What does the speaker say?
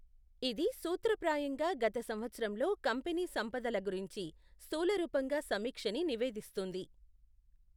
ఇది సూత్రప్రాయంగా గత సంవత్సరంలో కంపెనీ సంపదల గురించి స్థూలరూపంగా సమీక్షని నివేదిస్తుంది.